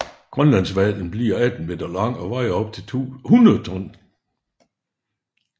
Grønlandshvalen bliver 18 meter lang og vejer op til 100 ton